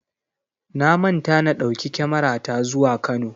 Na manta na ɗauki kyamarata zuwa Kano.